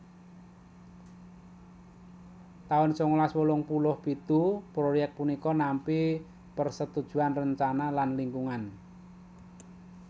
taun sangalas wolung puluh pitu proyèk punika nampi persetujuan rencana lan lingkungan